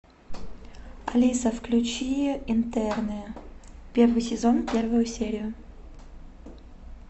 алиса включи интерны первый сезон первую серию